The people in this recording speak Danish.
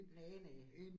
Næ næ